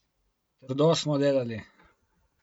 Trdo smo delali.